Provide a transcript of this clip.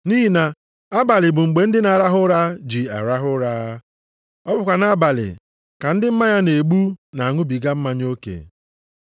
Nʼihi na abalị bụ mgbe ndị na-arahụ ụra ji arahụ ụra. Ọ bụkwa nʼabalị ka ndị mmanya na-egbu na-aṅụbiga mmanya oke.